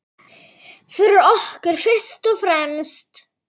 Fyrir okkur fyrst og fremst.